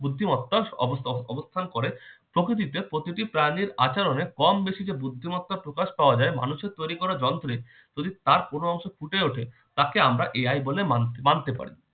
বুদ্ধিমত্তার অব~অবো~অবস্থান করে। প্রকৃতিতে প্রতিটি প্রাণীর আচরণে কম বেশি যে বুদ্ধিমতার প্রকাশ পাওয়া যায় মানুষের তৈরি করা যন্ত্রে যদি তার কোন অংশ ফুটে ওঠে তাকে আমরা AI বলে মানি মানতে পার।